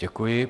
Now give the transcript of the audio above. Děkuji.